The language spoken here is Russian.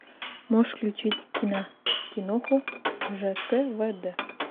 можешь включить кина киноху ждвд